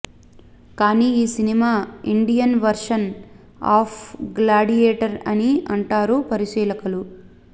కానీ ఈ cinema Indian version of Gladiator అని అంటారు పరిశీలకులు